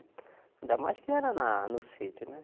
Ainda mais que era na no sítio, né?